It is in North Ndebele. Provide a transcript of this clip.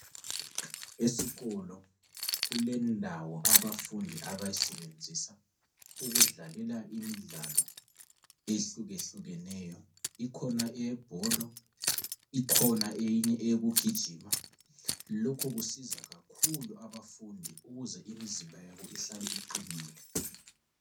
Esikolo kulendawo abafundi abayisebenzisa ukudlalela imidlalo ehlukehlukeneyo. Ikhona eyebholo, ikhona eyinye eyokugijima. Lokho kusiza kakhulu abafundi ukuze imizimba yabo ihlale iqinile.